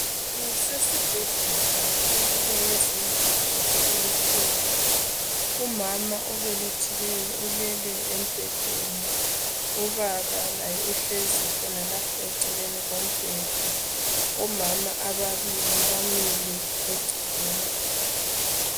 Kusesibhedlela kweyinye yezindlu zokubelethela, umama obelethileyo ulele embhedeni, ubaba laye uhlezi khonalapho eceleni kombheda , omama ababili bamile eceleni